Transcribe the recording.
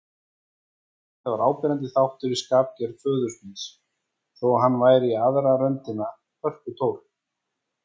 Þetta var áberandi þáttur í skapgerð föður míns, þó hann væri í aðra röndina hörkutól.